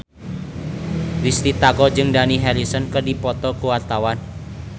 Risty Tagor jeung Dani Harrison keur dipoto ku wartawan